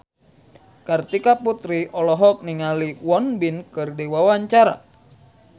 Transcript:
Kartika Putri olohok ningali Won Bin keur diwawancara